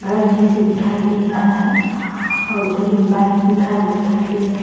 घर जैसे दिखाई दे रहा है और इधर एक बाइक भी खड़ा दिखाई दे रहा --